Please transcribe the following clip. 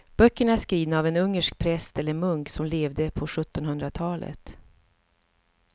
Böckerna är skrivna av en ungersk präst eller munk som levde på sjuttonhundratalet.